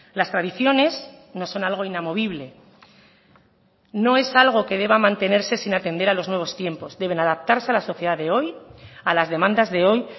las tradiciones no son algo inamovible no es algo que deba mantenerse sin atender a los nuevos tiempos deben adaptarse a la sociedad de hoy a las demandas de hoy